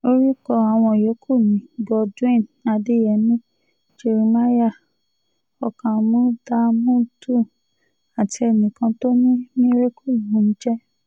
orúkọ àwọn yòókù ni godwin adeyemi jeremiah ọkámúdámùdù àti enìkan tó ní miracle lòún ń jẹ́